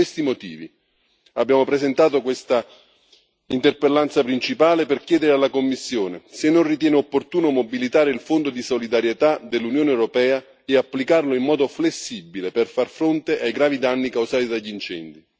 Per questi motivi abbiamo presentato questa interpellanza principale, per chiedere alla Commissione se non ritiene opportuno mobilitare il Fondo di solidarietà dell'Unione europea e applicarlo in modo flessibile per far fronte ai gravi danni causati dagli incendi